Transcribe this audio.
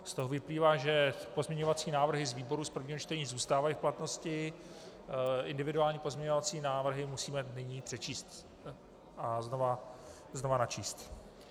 Z toho vyplývá, že pozměňovací návrhy z výboru z prvního čtení zůstávají v platnosti, individuální pozměňovací návrhy musíme nyní přečíst a znova načíst.